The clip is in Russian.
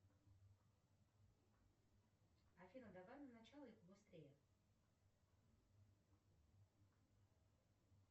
афина давай на начало и побыстрее